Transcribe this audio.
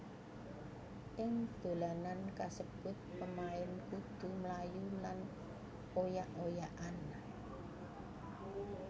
Ing dolanan kasebut pemain kudu mlayu lan oyak oyakan